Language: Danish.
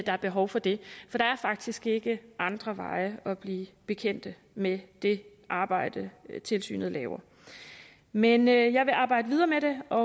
er behov for det for der er faktisk ikke andre veje at blive bekendt med det arbejde tilsynet laver men jeg vil arbejde videre med det og